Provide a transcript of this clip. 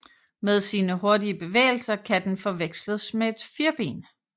Med sine hurtige bevægelser kan den forveksles med et firben